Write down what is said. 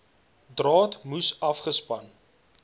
draad moes afgespan